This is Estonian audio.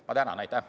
Ma tänan!